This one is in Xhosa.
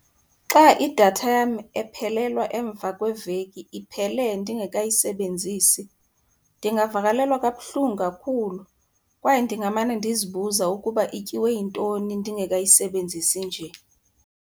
Xa idatha yam ephelelwa emva kweveki iphele ndingekayisebenzisi ndingavakalelwa kabuhlungu kakhulu kwaye ndingamane ndizibuza ukuba ityiwe yintoni ndingekayisebenzisi nje.